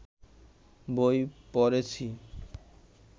বই পড়েছি